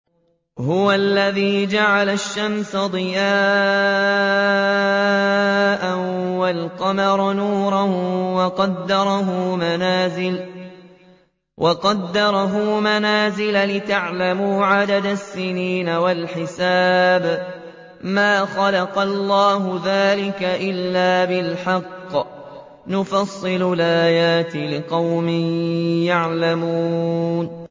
هُوَ الَّذِي جَعَلَ الشَّمْسَ ضِيَاءً وَالْقَمَرَ نُورًا وَقَدَّرَهُ مَنَازِلَ لِتَعْلَمُوا عَدَدَ السِّنِينَ وَالْحِسَابَ ۚ مَا خَلَقَ اللَّهُ ذَٰلِكَ إِلَّا بِالْحَقِّ ۚ يُفَصِّلُ الْآيَاتِ لِقَوْمٍ يَعْلَمُونَ